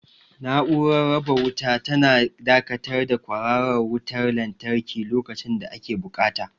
Na'urar raba wuta tana dakatar da kwararar wutar lantarki lokacin da ake buƙata.